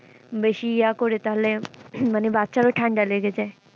বেশি ইয়া করে তাহলে মানে বাচ্চারও ঠাণ্ডা লেগে যায়।